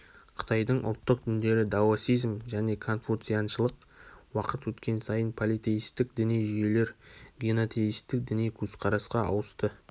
қытайдың ұлттық діндері даосизм және конфуцианшылық уақыт өткен сайын политеистік діни жүйелер генотеистік діни көзкарасқа ауысты